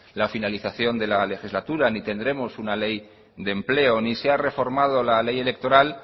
la finalización de la legislatura ni tendremos una ley de empleo ni se ha reformado la ley electoral